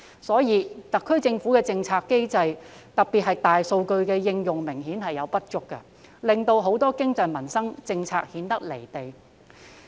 因此，特區政府的政策機制明顯有所不足，特別是在大數據的應用方面，令很多經濟及民生政策顯得"離地"。